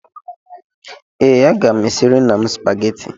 Ee, aga m esiri nna m Supagetii